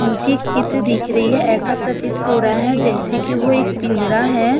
मुझे एक चित्र दिख रही है ऐसा प्रतीत हो रहा है जैसे कि वो एक पिंजरा है।